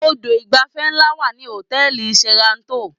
Odò ìgbafẹ́ ńlá wà ní hòtẹ́ẹ̀lì Sheraton